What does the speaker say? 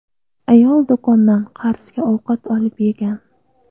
Ayol do‘kondan qarzga ovqat olib yegan.